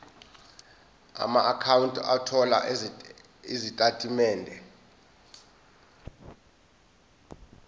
amaakhawunti othola izitatimende